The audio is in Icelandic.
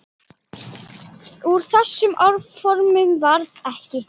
Úr þeim áformum varð ekki.